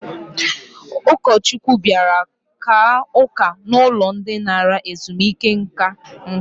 Ụkọchukwu bịara kaa ụka n'ụlọ ndị nara ezumike nka.